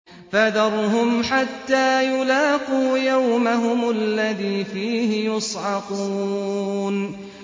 فَذَرْهُمْ حَتَّىٰ يُلَاقُوا يَوْمَهُمُ الَّذِي فِيهِ يُصْعَقُونَ